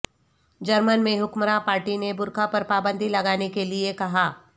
German میں حکمراں party نے برقعہ پر پابندی لگانے کیلئے کہا